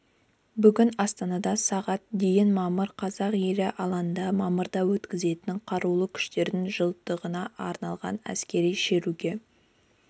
бүгін астанада сағат дейін мамыр қазақ елі алаңында мамырда өткізетін қарулы күштерінің жылдығына арналған әскери шеруге